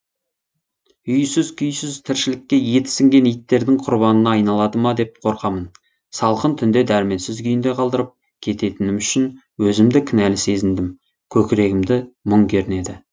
үйсіз күйсіз тіршілікке еті сіңген иттердің құрбанына айналады ма деп қорқамын салқын түнде дәрменсіз күйінде қалдырып кететінім үшін өзімді кінәлі сезіндім көкірегімді мұң кернеді